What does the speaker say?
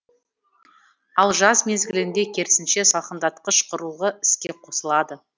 ал жаз мезгілінде керісінше салқындатқыш құрылғы іске қосылады